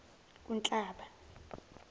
unhlaba